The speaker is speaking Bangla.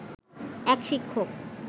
এক শিক্ষক